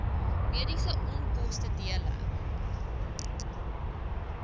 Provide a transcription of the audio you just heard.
mediese onkoste dele